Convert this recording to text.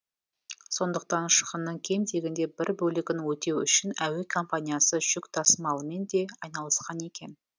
сондықтан шығынның кем дегенде бір бөлігін өтеу үшін әуе компаниясы жүк тасымалымен де айналысқан екен